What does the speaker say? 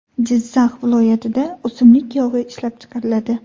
Jizzax viloyatida o‘simlik yog‘i ishlab chiqariladi.